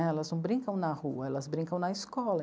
né? Elas não brincam na rua, elas brincam na escola.